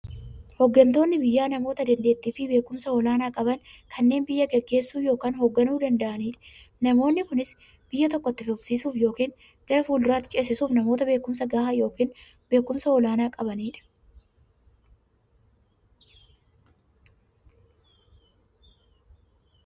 Hooggantoonni biyyaa namoota dandeettiifi beekumsa olaanaa qaban, kanneen biyya gaggeessuu yookiin hoogganuu danda'aniidha. Namoonni kunis, biyya tokko itti fufsiisuuf yookiin gara fuulduraatti ceesisuuf, namoota beekumsa gahaa yookiin beekumsa olaanaa qabaniidha.